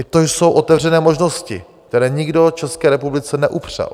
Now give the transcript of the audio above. I to jsou otevřené možnosti, které nikdo České republice neupřel.